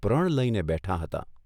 પ્રણ લઇને બેઠાં હતાં.